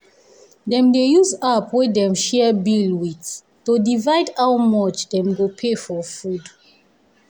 dem dey use app wey dem share bill with to divide how much dem go pay for food.